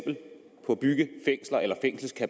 men